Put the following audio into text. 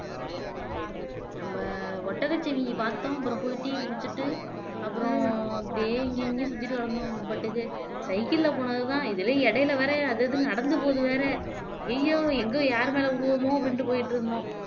நம்ம ஒட்டகச்சிவிங்கி பார்த்தோம் அப்புறம் போய் டி குடிச்சிட்டு அப்புறம் அப்படியே இங்கயும் இங்கயும் சுத்திட்டு கடந்தோம் நம்ம பாட்டுக்கு cycle ல போனதுதான் இதுலயும் இடையில வேற அது இதுன்னு நடந்து போது வேற ஐயையோ எங்கோ யாரு மேல விடுவோமோ அப்படின்ட்டு போயிட்டு இருந்தோம்